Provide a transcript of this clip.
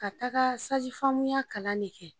Ka taga ya kalan de kɛ.